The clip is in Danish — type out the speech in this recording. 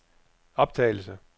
optagelse